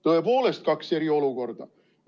Tõepoolest, kaks eri olukorda.